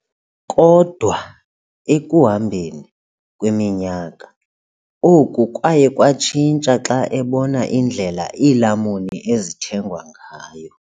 Kodwa ekuhambeni kweminyaka, oku kwaye kwatshintsha xa ebona indlela iilamuni ezithengwa ngayo.